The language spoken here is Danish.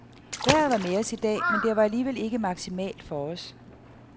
Vejret var med os i dag, men det var alligevel ikke maksimalt for os.